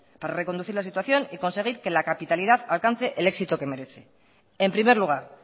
para reconducir la situación y conseguir que la capitalidad alcance el éxito que merece en primer lugar